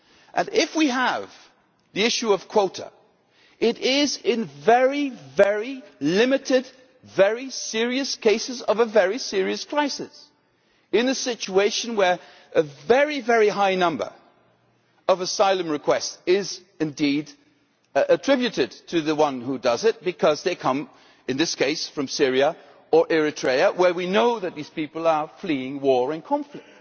And if we have the issue of quotas, it is in very, very limited, very serious cases of a very serious crisis, in a situation where a very, very high number of asylum requests are indeed attributed as they are because they come in this case from Syria or Eritrea, where we know that these people are fleeing war and conflict.